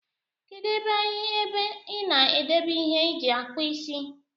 Kedu ebe ebe ina edebe ihe iji akpụ isi.